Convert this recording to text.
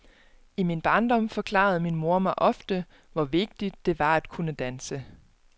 I min barndom forklarede min mor mig ofte, hvor vigtigt det var at kunne danse.